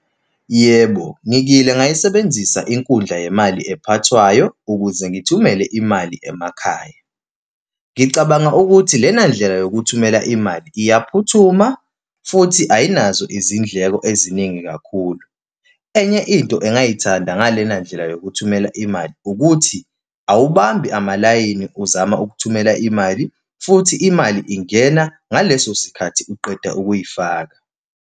Yebo, ngikile ngayisebenzisa inkundla yemali ekhathwayo ukuze ngithumele imali emakhaya. Ngicabanga ukuthi lena ndlela yokuthumela imali iyakuphuthuma, futhi ayinazo izindleko eziningi kakhulu. Enye into engayithanda ngalena ndlela yokuthumela imali ukuthi awubambi amalayini, uzama ukuthumela imali, futhi imali ingena, ngaleso sikhathi uqeda ukuyifaka.